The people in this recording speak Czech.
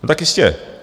No tak jistě.